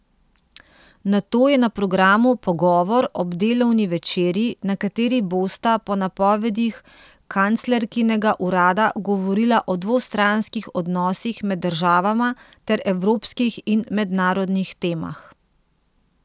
Nato je na programu pogovor ob delovni večerji, na kateri bosta po napovedih kanclerkinega urada govorila o dvostranskih odnosih med državama ter evropskih in mednarodnih temah.